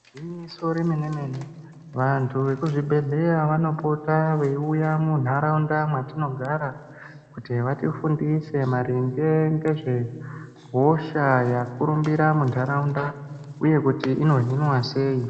Gwinyiso remene mene vantu vemuzvibhedhlera vanopota veiuya kwatinogara kuti vatifundise maringe nezvehosha yakurumbira mundaraunda uye kuti inohinwa sei.